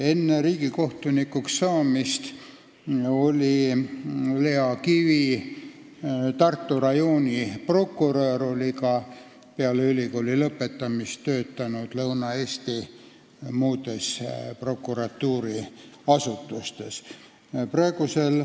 Enne riigikohtunikuks saamist oli Lea Kivi Tartu rajooni prokurör, peale ülikooli lõpetamist töötas ta Lõuna-Eestis muudes prokuratuuriasutustes.